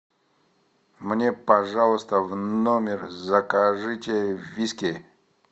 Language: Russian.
мне пожалуйста в номер закажите виски